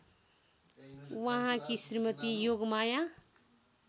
उहाँकी श्रीमती योगमाया